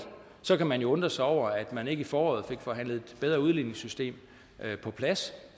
så kan man jo undre sig over at man ikke i foråret fik forhandlet et bedre udligningssystem på plads